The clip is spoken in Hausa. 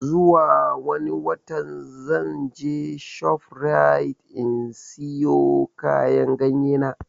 Zuwa wani watan zan je shof rite in siyo kayan ganye na